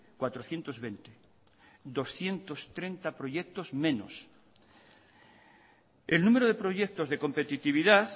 cuatrocientos veinte doscientos treinta proyectos menos el número de proyectos de competitividad